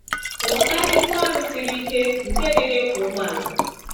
Ghọta ibu arụ siri ike nke dị n’ịkwọ ụgbọala.